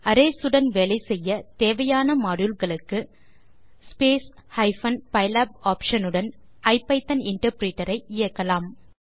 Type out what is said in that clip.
arrays உடன் வேலை செய்ய தேவையான மாடியூல் களுக்கு ஸ்பேஸ் ஹைப்பன் பைலாப் ஆப்ஷன் உடன் ஐபிதான் இன்டர்பிரிட்டர் ஐ இயக்கலாம்